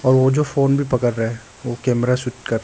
और वो जो फोन भी पकड़ रहा है वो कैमरा शूट कर रहा--